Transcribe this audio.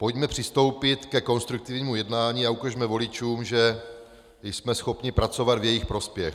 Pojďme přistoupit ke konstruktivnímu jednání a ukažme voličům, že jsme schopni pracovat v jejich prospěch.